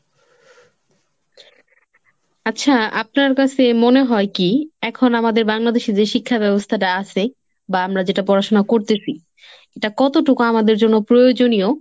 আচ্ছা আপনার কাসে মনে হয় কি এখন আমাদের Bangladesh এর যে শিক্ষা ব্যবস্থাটা আসে বা আমরা যেটা পড়াশোনা করতেসি, এটা কতটুকু আমাদের জন্য প্রয়োজনীয়